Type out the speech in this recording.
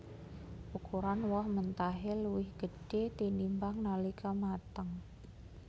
Ukuran woh mentahé luwih gedhé tinimbang nalika mateng